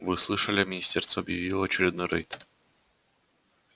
вы слышали министерство объявило очередной рейд